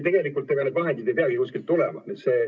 Tegelikult need vahendid ei peagi kuskilt tulema.